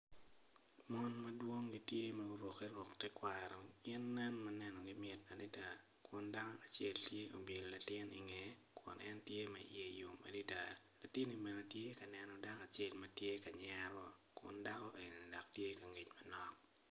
Mon madwong tye ma gurukke ruk tekwaro gin nen ma nenogi mit adada kun dako acel tye obyelo latin ingeye kun en tye ma iye yom adada latini bene tye ka neno dako acel ma tye ka nyero dako-ni eni dok tye ki angec manok